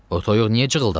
O toyuq niyə cığırtdadı?